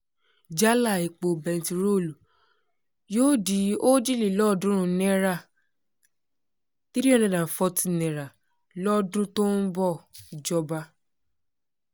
jálà epo bẹntiróòlù yóò di òjìlélọ́ọ̀ọ́dúnrún náírà n340 lọ́dún tó ń bọ̀ ọ́-ìjọba